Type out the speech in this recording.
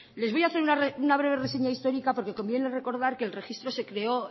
les voy a hacer una breve reseña histórica porque conviene recordar que el registro se creó